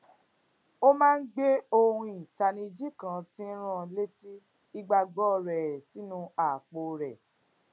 ó máa ń gbé ohun ìtanijí kan tí n rán an léti ìgbàgbó rè sínú àpò rè